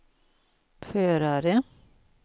förare